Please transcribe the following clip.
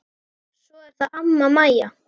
Svo er það amma Mæja.